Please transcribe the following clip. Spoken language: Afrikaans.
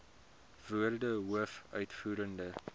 woorde hoof uitvoerende